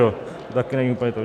To také není úplně to.